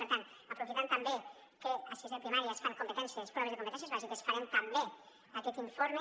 per tant aprofitant també que a sisè de primària es fan proves de competències bàsiques farem també aquest informe